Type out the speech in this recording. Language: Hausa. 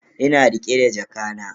Ina rike da jakana.